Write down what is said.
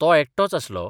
तो एकटोच आसलो.